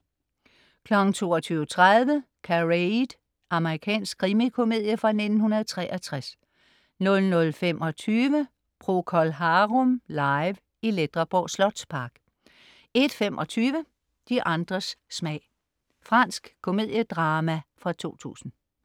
22.30 Charade. Amerikansk krimikomedie fra 1963 00.25 Procol Harum live i Ledreborg Slotspark 01.25 De andres smag. Fransk komediedrama fra 2000